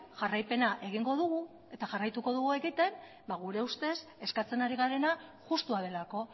jarraipena egingo dugu eta jarraituko dugu egiten gure ustez eskatzen ari garena justua delako